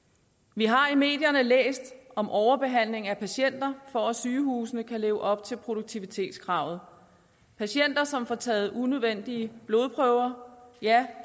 vi har i medierne læst om overbehandling af patienter for at sygehusene kan leve op til produktivitetskravet patienter som får taget unødvendige blodprøver ja